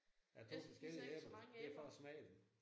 Af to forskellige æbler? Det er for at smage dem